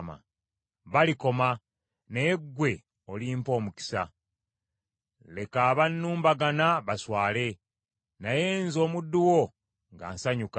Balikoma, naye ggwe olimpa omukisa! Leka abannumbagana baswale, naye nze omuddu wo nga nsanyuka!